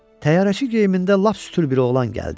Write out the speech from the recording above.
Təyyarəçi geyimində lap sütül bir oğlan gəldi.